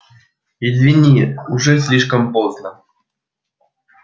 извини уже слишком поздно